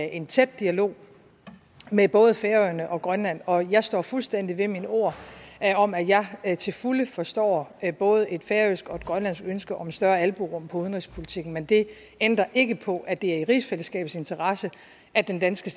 en tæt dialog med både færøerne og grønland og jeg står fuldstændig ved mine ord om at jeg til fulde forstår både et færøsk og et grønlandsk ønske om større albuerum udenrigspolitikken men det ændrer ikke på at det er i rigsfællesskabets interesse at den danske